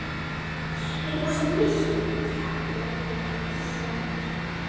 Þetta var dularfullur köttur, sérlundaður mjög.